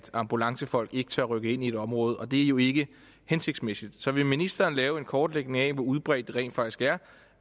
ambulancefolk ikke tør rykke ind i området og det er jo ikke hensigtsmæssigt så vil ministeren lave en kortlægning af hvor udbredt det rent faktisk er